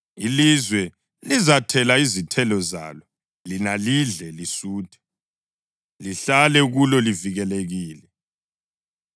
Ilizwe lizathela izithelo zalo, lina lidle lisuthe, lihlale kulo livikelekile.